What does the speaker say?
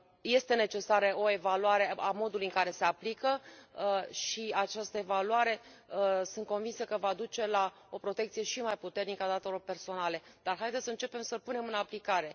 Este necesară o evaluare a modului în care se aplică și această evaluare, sunt convinsă, va duce la o protecție și mai puternică a datelor personale, dar haideți să începem să îl punem în aplicare!